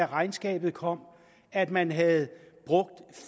regnskabet kom at man havde brugt